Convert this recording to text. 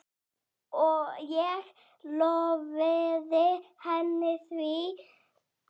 Ég lofaði henni því.